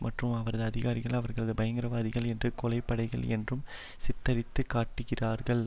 மற்றும் அவரது அதிகாரிகள் அவர்களை பயங்கரவாதிகள் என்றும் கொலை படைகள் என்றும் சித்தரித்து காட்டுகிறார்கள்